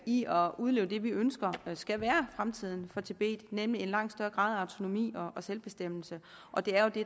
i at udleve det vi ønsker skal være fremtiden for tibet nemlig en langt større grad af autonomi og selvbestemmelse og det er jo det